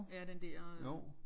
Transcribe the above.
Ja den der øh